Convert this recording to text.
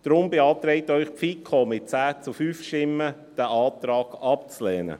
Deshalb beantragt Ihnen die FiKo mit 10 zu 5 Stimmen, diesen Antrag abzulehnen.